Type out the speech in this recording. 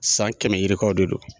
San kɛmɛ yirikaw de do.